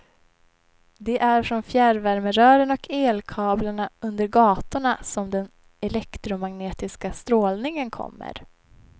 Det är från fjärrvärmerören och elkablarna under gatorna som den elektromagnetiska strålningen kommer.